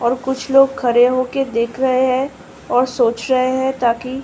और कुछ लोग खड़े होके देख रहे हैं और सोच रहे हैं ता की --